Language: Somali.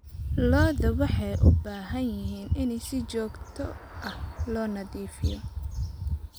Lo'da waxay u baahan yihiin in si joogto ah loo nadiifiyo.